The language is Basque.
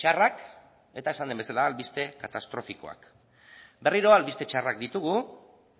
txarrak eta esan den bezala albiste katastrofikoak berriro albiste txarrak ditugu